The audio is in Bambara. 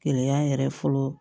Gɛlɛya yɛrɛ fɔlɔ